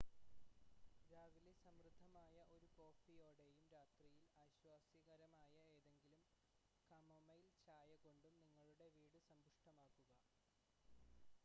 രാവിലെ സമൃദ്ധമായ ഒരു കോഫിയോടെയും രാത്രിയിൽ ആശ്വാസദായകമായ ഏതെങ്കിലും കമൊമൈൽ ചായ കൊണ്ടും നിങ്ങളുടെ വീട് സമ്പുഷ്ടമാക്കുക